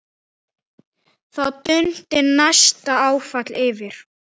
Þá dundi næsta áfall yfir.